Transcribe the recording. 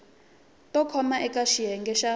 to koma eka xiyenge xa